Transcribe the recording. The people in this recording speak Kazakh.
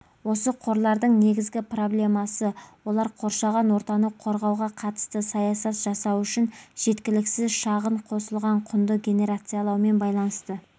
осы қорлардың негізгі проблемасы олар қоршаған ортаны қорғауға қатысты саясат жасау үшін жеткіліксіз шағын қосылған құнды генерациялаумен байланысты